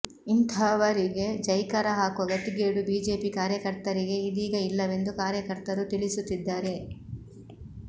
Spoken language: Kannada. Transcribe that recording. ಇಂತಹವರಿಗೆ ಜೈಕಾರ ಹಾಕುವ ಗತಿಗೇಡು ಬಿಜೆಪಿ ಕಾರ್ಯಕರ್ತರಿಗೆ ಇದೀಗ ಇಲ್ಲ ವೆಂದು ಕಾರ್ಯಕರ್ತರು ತಿಳಿಸುತ್ತಿದ್ದಾರೆ